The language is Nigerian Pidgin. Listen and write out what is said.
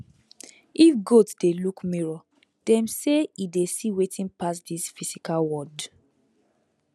if goat dey look mirror dem say e dey see wetin pass this physical world